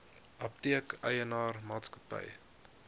apteek eienaar maatskappy